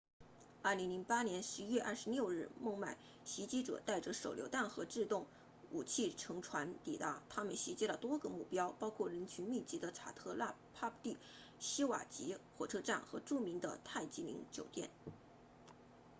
2008年11月26日孟买袭击者带着手榴弹和自动武器乘船抵达他们袭击了多个目标包括人群密集的查特拉帕蒂希瓦吉 chhatrapati shivaji 火车站和著名的泰姬陵酒店